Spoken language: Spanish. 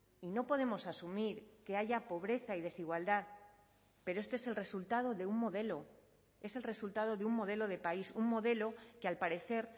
y no podemos asumir que haya pobreza y desigualdad pero este es el resultado de un modelo es el resultado de un modelo de país un modelo que al parecer